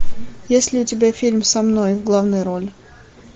есть ли у тебя фильм со мной в главной роли